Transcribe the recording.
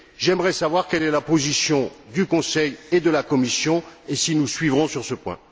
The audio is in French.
J'aimerais savoir quelle est la position du Conseil et de la Commission et s'ils nous suivront sur ce point.